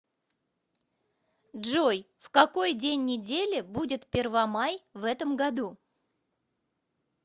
джой в какой день недели будет первомай в этом году